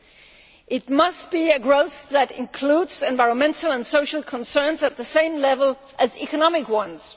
It must be a growth that includes environmental and social concerns at the same level as economic ones.